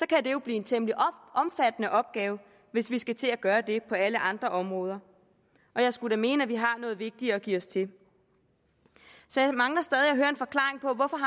kan det jo blive en temmelig omfattende opgave hvis vi skal til at gøre det på alle andre områder jeg skulle da mene at vi har noget vigtigere at give os til så jeg mangler stadig